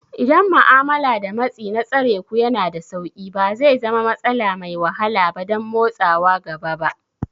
Idan ma'amala da matsi na tsareku yana da sauƙi, ba zai zama matsala mai wahala ba don motsawa gaba ba.